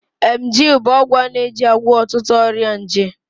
Emgyl bụ ọgwụ a na-eji agwọ ọtụtụ ọrịa nje.